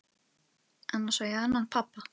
Annars á ég annan pabba.